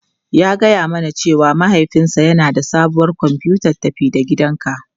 Ya gaya mana cewa mahaifinsa yana da sabuwar kwamfutar tafi-da-gidanka.